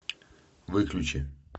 выключи